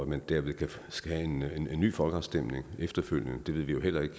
man derved skal have en ny folkeafstemning efterfølgende det ved vi jo heller ikke